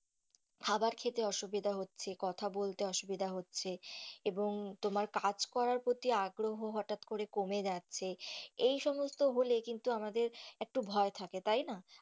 খাবার খেতে অসুবিধা হচ্ছে, কথা বলতে অসুবিধা হচ্ছে এবং তোমার কাজ করার প্রতি আগ্রহ হঠাৎ করে কমে যাচ্ছে এই সমস্ত হলে কিন্তু আমাদের একটু ভয় থাকে তাই না.